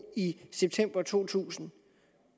i september to tusind